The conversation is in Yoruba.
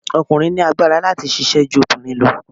Ọkùnrin ní agbára láti ṣisẹ́ ju obìnrin lọ.